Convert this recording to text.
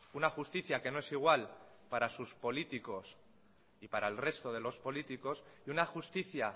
una justicia que no es igual para sus políticos y para el resto de los políticos y una justicia